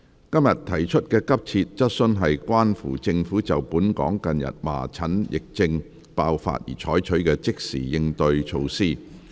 今天提出的急切質詢均關乎政府就本港近日麻疹疫症爆發而採取的即時應對措施。